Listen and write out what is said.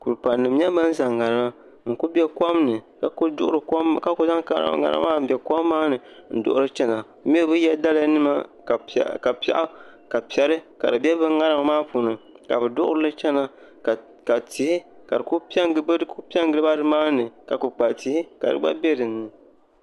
Kuli pali nim n nyɛ ban zaŋ ŋarima ka ku bɛ kom ni n ku zaŋ ŋarima maa n duɣuri kom maa n duɣuri chɛna bi mii bi yɛ daliya nima ka piɛɣu bɛ ŋarim maa puuni ka bi duɣurili chɛna ka tihi ka di ku piɛ n giliba nimaani ka kpukpali tihi ka di gba bɛ dinni